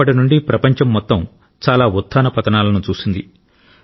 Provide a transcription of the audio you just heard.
అప్పటి నుండి ప్రపంచం మొత్తం చాలా ఉత్థాన పతనాలను చూసింది